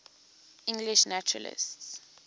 english naturalists